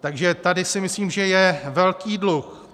Takže tady si myslím, že je velký dluh.